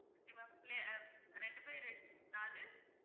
Okay ma'am பிள்ளையா~ ரெண்டு by ரெண்~ நாலு